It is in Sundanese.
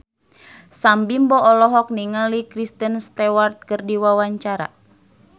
Sam Bimbo olohok ningali Kristen Stewart keur diwawancara